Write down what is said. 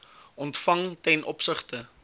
ontvang ten opsigte